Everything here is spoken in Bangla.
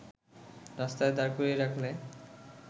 রাস্তায় দাঁড় করিয়ে রাখলে